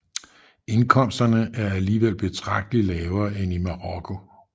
Indkomsterne er alligevel betragteligt lavere end i Marokko